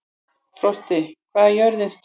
Frosti, hvað er jörðin stór?